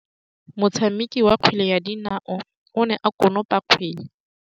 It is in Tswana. Motshameki wa kgwele ya dinaô o ne a konopa kgwele.